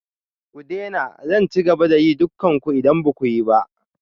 Ku daina! Zan ci gaba da dukan ku idan ba ku yi ba.